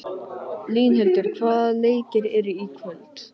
Línhildur, hvaða leikir eru í kvöld?